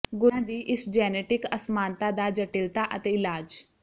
ਗੁਰਦਿਆਂ ਦੀ ਇਸ ਜੈਨੇਟਿਕ ਅਸਮਾਨਤਾ ਦਾ ਜਟਿਲਤਾ ਅਤੇ ਇਲਾਜ